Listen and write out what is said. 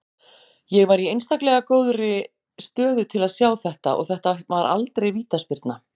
Ég var í einstaklegra góðri stöðu til að sjá þetta og þetta var aldrei vítaspyrna